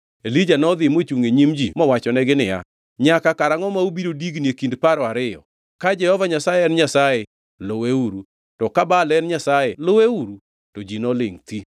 Elija nodhi mochungʼ e nyim ji mowachonegi niya, “Nyaka karangʼo ma ubiro digni e kind paro ariyo? Ka Jehova Nyasaye en Nyasaye, luweuru, to ka Baal en nyasaye luweuru.” To ji ne olingʼ thi.